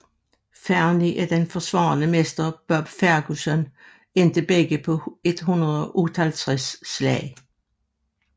Fernie og den forsvarende mester Bob Ferguson endte begge på 158 slag